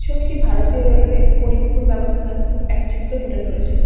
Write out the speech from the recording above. ছবিটি ভারতীয় রেলওয়ের পরিবহন ব্যবস্থার এক চিত্র তুলে ধরেছে।